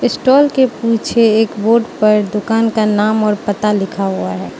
Stall के पीछे एक बोर्ड पर दुकान का नाम और पता लिखा हुआ है।